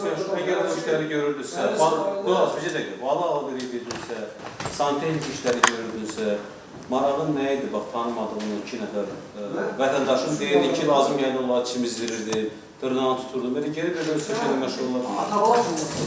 Bəs yəni əgər bu işləri görürdünüzsə, bir dəqiqə, bəs bala-bala dediyinizsə, santexnik işləri görürdünüzsə, marağın nə idi, bax tanımadığın iki nəfər vətəndaşın deyirdin ki, lazım gəldi, yəni onları çimizdirdin, dırnağını tuturdun, belə gedib elə bil ki, şeylə məşğul oldun.